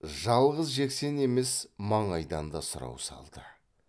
жалғыз жексен емес маңайдан да сұрау салды